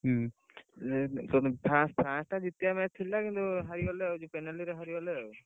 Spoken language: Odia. ହୁଁ, ଇଏ France ଟା ଜିତିଆ match ଥିଲା କିନ୍ତୁ ହାରି ଗଲେ ଆଉ ହାରିଗଲେ ଆଉ।